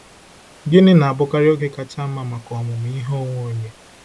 Gịnị na-abụkarị oge kacha mma maka ọmụmụ ihe onwe onye?